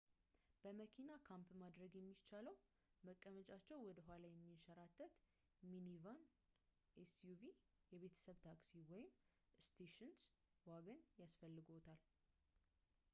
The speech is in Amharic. በመኪና ካምፕ ማድረግ የሚቻለው መቀመጫቸው ወደ ኋላ የሚንሸራተት ሚኒቫን ኤስዩቪ የቤተሰብ ታክሲ ወይም ስቴሽንስ ዋገን ያስፈልግዎታል